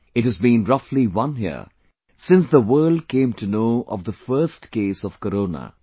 It has been roughly one year since the world came to know of the first case of Corona